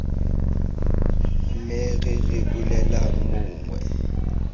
me re re bolelelang mongwe